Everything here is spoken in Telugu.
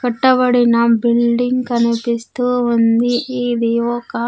కట్టబడిన బిల్డింగ్ కనిపిస్తూ ఉంది ఇది ఒక--